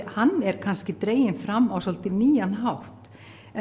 hann er kannski dreginn fram á svolítið nýjan hátt